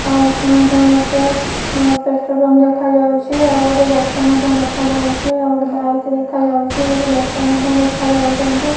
ଆଉ ଏଠି ମଧ୍ୟ ଗୋଟେ ପେଟ୍ରୋଲ ପମ୍ପ ଦେଖାଯାଉଚି ଆଉଗୋଟେ ଗଛ ମଧ୍ୟ ଦେଖାଯାଉଛି ଆଉଗୋଟେ ବାଇକ୍ ଦେଖାଯାଉଛି କିଛି ଲୋକ ମଧ୍ୟ ଦେଖାଯାଉଚନ୍ତି ।